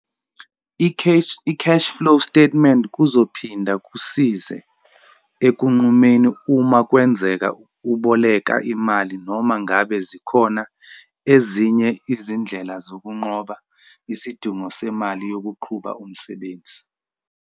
I-cash-flow statement kuzophinda kusize ekunqumeni uma kwenzeka uboleka imali noma ngabe zikhona ezinye izindlela zokunqoba isidingo semali yokuqhuba umsebenzi.